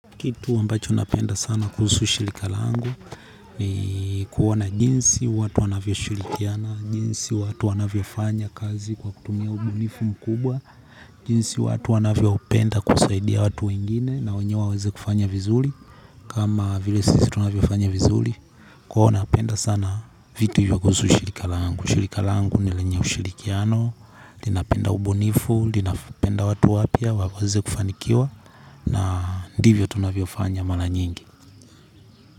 Kitu ambacho napenda sana kuhusu shirika langu ni kuona jinsi watu wanavyoshirikiana, jinsi watu wanavyofanya kazi kwa kutumia ubunifu mkubwa, jinsi watu wanavyopenda kusaidia watu wengine na wenyewe waweze kufanya vizuri. Kama vile sisi tunavyofanya vizuri, kwa hiyo napenda sana vitu hivyo kuhusu shirika langu. Shirika langu lina ushirikiano. Linapenda ubunifu, linapenda watu wapya waweze kufanikiwa. Na ndivyo tunavyofanya mara nyingi.